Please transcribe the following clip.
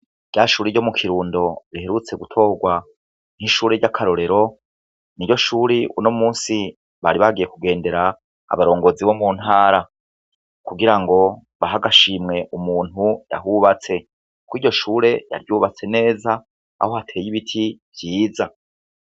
Rya shure ryo mu Kirundo riherutse gutogwa nk' ishure ry' akarorero niryo shure unomunsi bari bagiye kugendera abarongozi bo mu ntara kugira ngo bahe agashimwe umuntu yahubatse kwiryo shure yaryubatse neza aho hateye ibiti vyiza